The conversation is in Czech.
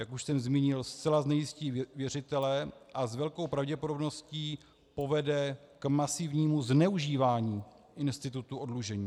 Jak už jsem zmínil, zcela znejistí věřitele a s velkou pravděpodobností povede k masivnímu zneužívání institutu oddlužení.